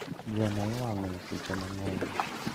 Gweno iwang'o e seche mang'eny